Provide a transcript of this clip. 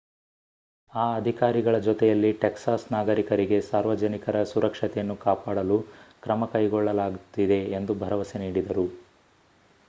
ಆ ಅಧಿಕಾರಿಗಳ ಜೊತೆಯಲ್ಲಿ ಟೆಕ್ಸಾಸ್ ನಾಗರಿಕರಿಗೆ ಸಾರ್ವಜನಿಕರ ಸುರಕ್ಷತೆಯನ್ನು ಕಾಪಾಡಲು ಕ್ರಮ ಕೈಗೊಳ್ಳಲಾಗುತ್ತಿದೆ ಎಂದು ಭರವಸೆ ನೀಡಿದರು